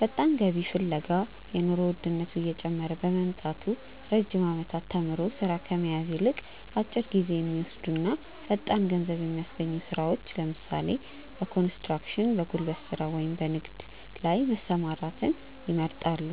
ፈጣን ገቢ ፍለጋ፦ የኑሮ ውድነቱ እየጨመረ በመምጣቱ፣ ረጅም ዓመታት ተምሮ ሥራ ከመያዝ ይልቅ፣ አጭር ጊዜ በሚወስዱና ፈጣን ገንዘብ በሚያስገኙ ሥራዎች (ለምሳሌ፦ በኮንስትራክሽን፣ በጉልበት ሥራ ወይም በንግድ) ላይ መሰማራትን ይመርጣሉ።